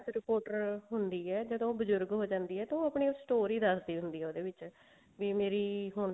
reporter ਹੁੰਦੀ ਹੈ ਜਦੋਂ ਉਹ ਬਜੁਰਗ ਹੋ ਜਾਂਦੀ ਹੈ ਤਾਂ ਆਪਣੀ ਉਹ story ਦੱਸਦੀ ਹੁੰਦੀ ਆ ਉਹਦੇ ਵਿੱਚ ਵੀ ਮੇਰੀ